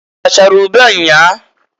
I rachara ube nnyaa?